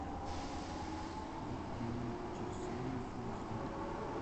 выведи мне через вселенную фул эйч ди